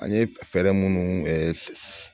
An ye fɛɛrɛ minnu